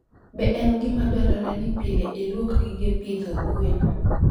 Be en gima dwarore ni pile ilwok gige pitho gwen?